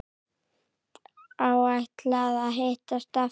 Áætlað að hittast aftur?